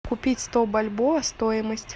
купить сто бальбоа стоимость